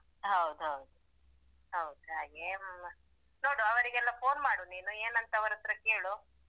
ಹೌದ್ ಹೌದು ಹೌದ್ ಹಾಗೆ.